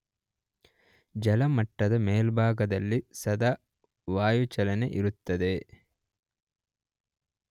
ಜಲಮಟ್ಟದ ಮೇಲ್ಭಾಗದಲ್ಲಿ ಸದಾ ವಾಯುಚಲನೆ ಇರುತ್ತದೆ.